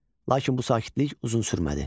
Lakin bu sakitlik uzun sürmədi.